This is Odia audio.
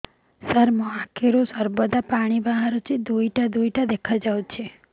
ସାର ମୋ ଆଖିରୁ ସର୍ବଦା ପାଣି ବାହାରୁଛି ଦୁଇଟା ଦୁଇଟା ଦେଖାଯାଉଛି